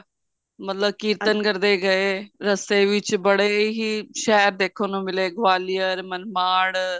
ਮਤਲਬ ਕੀਰਤਨ ਕਰਦੇ ਗਏ ਰੱਸਤੇ ਦੇ ਵਿੱਚ ਬੜੇ ਹੀ ਸ਼ਹਿਰ ਦੇਖਣ ਨੂੰ ਮਿਲੇ ਗਵਾਲੀਅਰ ਮਰਵਾੜ